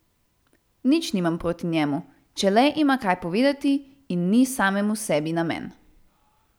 Nič nimam proti njemu, če le ima kaj povedati in ni samemu sebi namen.